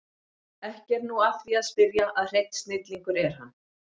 Ekki er nú að því að spyrja að hreinn snillingur er hann